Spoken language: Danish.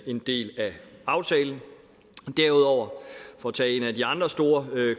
en del af aftalen derudover for at tage en af de andre store